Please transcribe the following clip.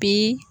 Bi